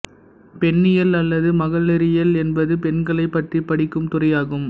பெண்ணியல் அல்லது மகளிரியல் என்பது பெண்களை பற்றி படிக்கும் துறையாகும்